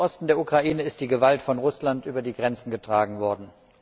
Im Osten der Ukraine ist die Gewalt von Russland über die Grenzen getragen worden.